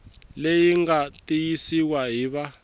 leyi nga tiyisiwa hi va